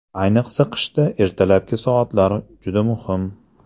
Ayniqsa qishda ertalabki soatlar juda muhim.